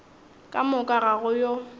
ka moka ga go yo